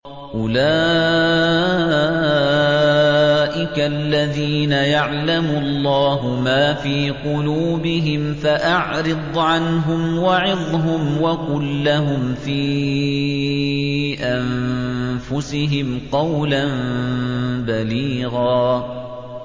أُولَٰئِكَ الَّذِينَ يَعْلَمُ اللَّهُ مَا فِي قُلُوبِهِمْ فَأَعْرِضْ عَنْهُمْ وَعِظْهُمْ وَقُل لَّهُمْ فِي أَنفُسِهِمْ قَوْلًا بَلِيغًا